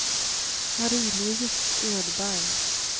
Marie-Louise Edberg